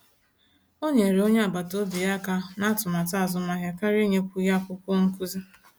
O nyere onye agbata obi ya aka ná atụmatụ azụmahịa karịa inyekwu ya akwụkwọ nkụzi